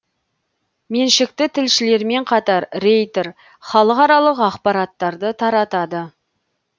меншікті тілшілермен қатар рейтер халықаралық ақпараттарды таратады